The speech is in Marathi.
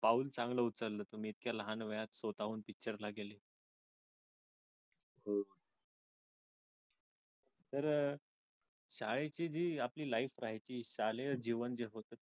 पाऊलं चांगलं उचललंय तुम्ही इतक्या लहान वयात स्वतःहून picture ला गेले